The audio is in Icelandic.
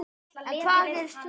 En hvað gerist svo?